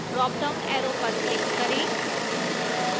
dropdown arrow पर click करें